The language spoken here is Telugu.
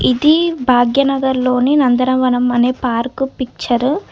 ఇది భాగ్యనగర్ లోని నందనవనం అనే పార్క్ పిక్చర్ .